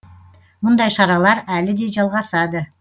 мұндай шаралар әлі де жалғасады